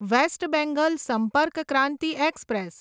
waste Bengal Sampark Kranti express